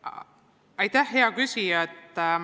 Aitäh, hea küsija!